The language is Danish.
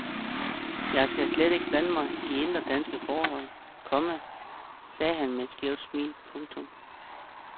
Jeg skal slet ikke blande mig i indre danske forhold, komma sagde han med et skævt smil. punktum